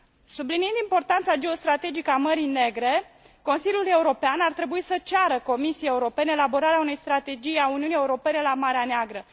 Subliniind importanța geostrategică a Mării Negre, Consiliul European ar trebui să ceară Comisiei Europene elaborarea unei strategii a Uniunii Europene la Marea Neagră.